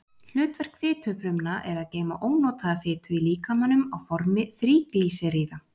Hlutverk fitufrumna er að geyma ónotaða fitu í líkamanum á formi þríglýseríða.